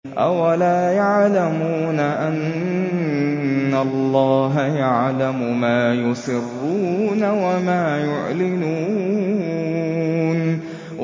أَوَلَا يَعْلَمُونَ أَنَّ اللَّهَ يَعْلَمُ مَا يُسِرُّونَ وَمَا يُعْلِنُونَ